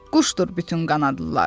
Quşdur bütün qanadlılar.